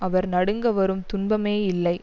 அவர் நடுங்க வரும் துன்பமே இல்லை